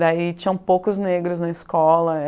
Daí tinham poucos negros na escola.